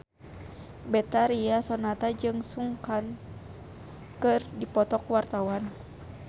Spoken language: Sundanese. Betharia Sonata jeung Sun Kang keur dipoto ku wartawan